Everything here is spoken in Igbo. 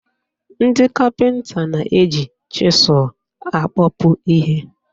Ndị kapịnta na-eji chịzụl akpọpu ihe.